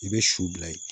I bɛ su bila yen